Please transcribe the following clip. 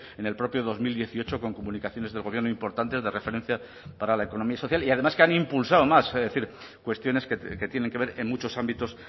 en el propio dos mil dieciocho con comunicaciones del gobierno importantes de referencia para la economía social y además que han impulsado más es decir cuestiones que tienen que ver en muchos ámbitos